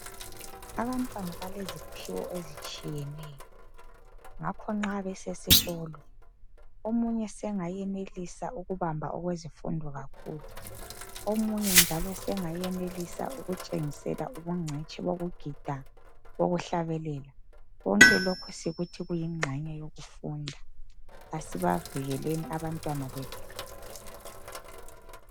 Abantwana baleziphiwo ezitshiyeneyo ngakho nxa besesikolo omunye sengayenelisa ukubamba okwezifundo kakhulu, omunye njalo sengayenelisa ukutshengisela ubungcitshi bokugida bokuhlabela konke lokhu sikuthi kuyingxenye yokufunda. Asibavikeleni abantwana bethu.